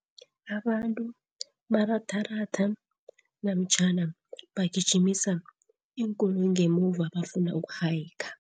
Abantu baratharatha namtjhana bagijimisa iinkoloyi ngemuva bafuna uku-hiker.